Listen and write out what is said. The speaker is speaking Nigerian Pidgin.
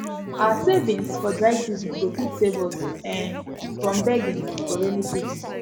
our savings for dry season go fit save us um from begging for raining season